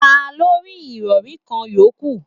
Ta ló rí irori kan yòókù?